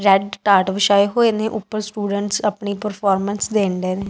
Red ਟਾਟ ਵਿਛਾਈ ਹੋਏ ਨੇਂ ਉਪਰ ਸਟੂਡੈਂਟਸ ਆਪਣੀ ਪ੍ਰਫੋਰਮੈਂਸ ਦੇਂਡੇਂ ਨੇਂ।